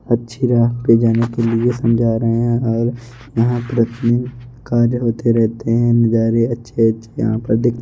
अच्छी राह पे जाने के लिए समझा रहे हैं और यहां पर अपने कार्य होते रहते हैं नजारे अच्छे अच्छे यहां पे दे--